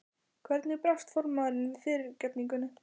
Hvernig brást formaðurinn við fyrirgefningunni?